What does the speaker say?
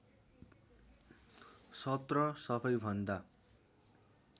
१७ सबैभन्दा